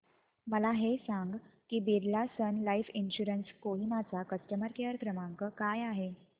मला हे सांग की Birla Sun Life insurance Kohima चा कस्टमर केअर क्रमांक काय आहे